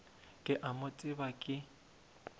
ke a mo tseba ke